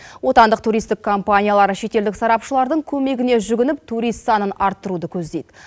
отандық туристік компаниялар шетелдік сарапшылардың көмегіне жүгініп турист санын арттыруды көздейді